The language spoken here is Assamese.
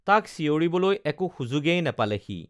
তাক চিঞঁৰিবলৈ একো সুযোগেই নেপালে সি